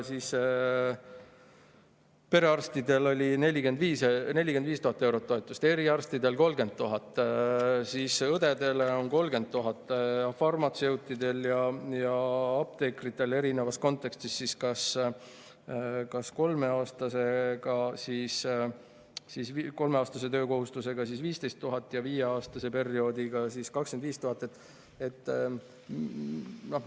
Perearstide toetus on 45 000 eurot, eriarstidel on 30 000, õdedel on 30 000, farmatseutidel ja apteekritel on kolmeaastase töötamiskohustusega 15 000 ja viieaastase tööperioodi puhul 25 000.